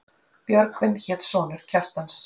Björgvin hét sonur Kjartans.